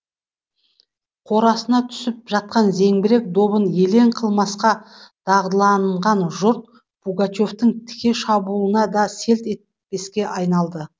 қорасына түсіп жатқан зеңбірек добын елең қылмасқа дағдыланған жұрт пугачевтің тіке шабуылына да селт етпеске айналды